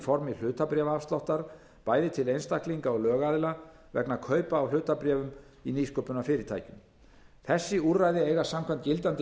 formi hlutabréfaafsláttar bæði til einstaklinga og lögaðila vegna kaupa á hlutabréfum í nýsköpunarfyrirtækjum þessi úrræði eiga samkvæmt gildandi